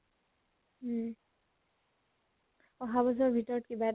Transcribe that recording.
উম । অহা বৰছৰ ভিতৰত কিবা এটা